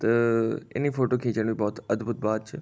त इनी फोटो खिचन भौत अद्भुत बात च।